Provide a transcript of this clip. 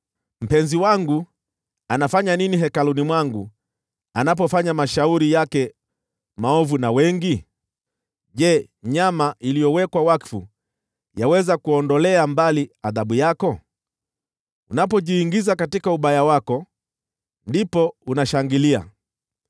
“Mpenzi wangu anafanya nini hekaluni mwangu, anapofanya mashauri yake maovu na wengi? Je, nyama iliyowekwa wakfu yaweza kuondolea mbali adhabu yako? Unapojiingiza katika ubaya wako, ndipo unashangilia.”